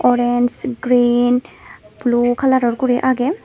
orange green blue colour or guri ageh.